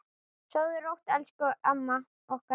Sofðu rótt, elsku amma okkar.